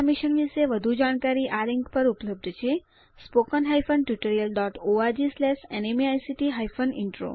આ મિશન વિશે વધુ જાણકારી આ લિંક httpspoken tutorialorgNMEICT Intro ઉપર ઉપલબ્ધ છે